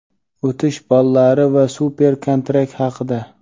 o‘tish ballari va super kontrakt haqida.